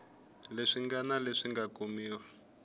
leswi ngana leswi nga kumiwa